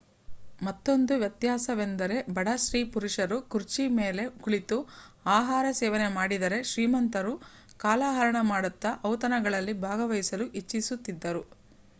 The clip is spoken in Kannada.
ಮತ್ತೊಂದು ವ್ಯತ್ಯಾಸವೆಂದರೆ ಬಡ ಸ್ತ್ರೀ ಪುರುಷರು ಕುರ್ಚಿ ಮೇಲೆ ಕುಳಿತು ಆಹಾರ ಸೇವನೆ ಮಾಡಿದರೆ ಶ್ರೀಮಂತರು ಕಾಲಹರಣ ಮಾಡುತ್ತಾ ಔತಣಗಳಲ್ಲಿ ಭಾಗವಹಿಸಲು ಇಚ್ಚಿಸುತಿದ್ದರು